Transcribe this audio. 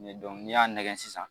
n'i y'a nɛgɛn sisan